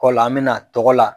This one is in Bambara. Kɔ la an bɛ na tɔgɔ la.